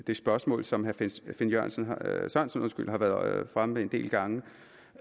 det spørgsmål som herre finn sørensen har været fremme med en del gange